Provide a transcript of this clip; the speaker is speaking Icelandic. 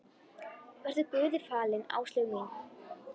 Vertu Guði falin, Áslaug mín.